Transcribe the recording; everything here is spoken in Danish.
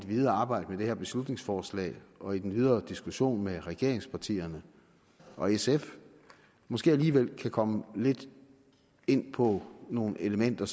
videre arbejde med det her beslutningsforslag og i den videre diskussion med regeringspartierne og sf måske alligevel kan komme lidt ind på nogle elementer